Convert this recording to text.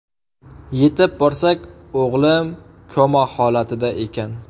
Yetib borsak, o‘g‘lim koma holatida ekan.